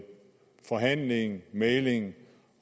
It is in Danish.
forhandling mægling